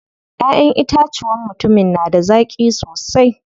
Ƴaʼƴen itacuwan mutumin na da zaƙi sosai.